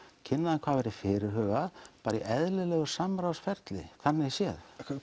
kynna hvað væri fyrirhugað bara í eðlilegu samráðsferli þannig séð